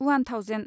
उवान thousand